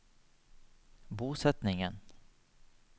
bosetningen